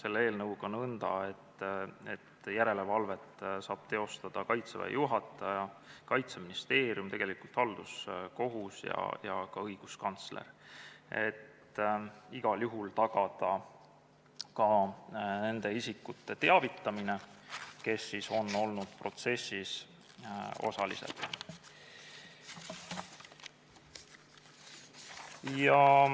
selle eelnõuga nõnda, et järelevalvet saab teha Kaitseväe juhataja, Kaitseministeerium, halduskohus ja ka õiguskantsler, et igal juhul tagada nende isikute teavitamine, kes on olnud protsessis osalised.